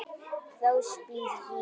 Þá spyr ég.